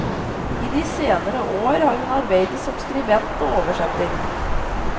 I de senere år har hun arbeidet som skribent og oversetter.